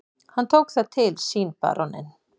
Hann tók það til sínBaróninn